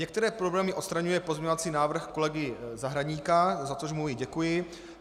Některé problémy odstraňuje pozměňovací návrh kolegy Zahradníka, za což mu i děkuji.